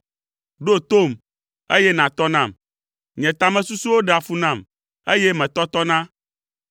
Ɖo tom, eye nàtɔ nam. Nye tamesusuwo ɖea fu nam, eye metɔtɔna,